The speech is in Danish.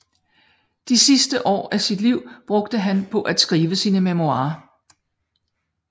De sidste år af sit liv brugte han på at skrive sine memoirer